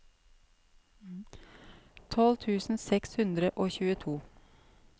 tolv tusen seks hundre og tjueto